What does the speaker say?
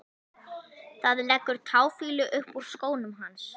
Það leggur táfýlu upp úr skónum hans.